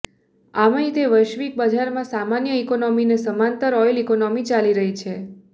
આમેય તે વૈશ્વિક બજારમાં સામાન્ય ઈકોનોમીને સમાંતર ઓઈલ ઇકોનોમી ચાલી રહી છે